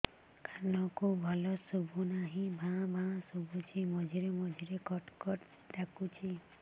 କାନକୁ ଭଲ ଶୁଭୁ ନାହିଁ ଭାଆ ଭାଆ ଶୁଭୁଚି ମଝିରେ ମଝିରେ କଟ କଟ ଡାକୁଚି